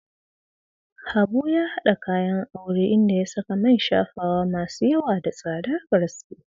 Habu ya hada kayan aure, inda ya saka man shafawa masu yawa da tsadar gaske.